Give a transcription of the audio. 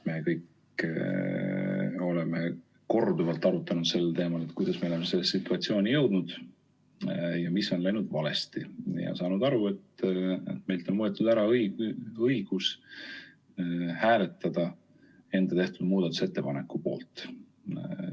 Me kõik oleme korduvalt arutanud sel teemal, kuidas me oleme sellesse situatsiooni jõudnud ja mis on läinud valesti, ja saanud aru, et meilt on võetud ära õigus hääletada enda tehtud muudatusettepaneku poolt.